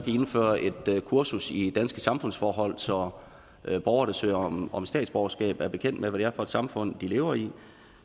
et kursus i danske samfundsforhold så borgere der søger om om statsborgerskab er bekendt med hvad det er for et samfund de lever i